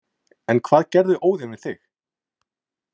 En hvað gerði Óðinn við þig?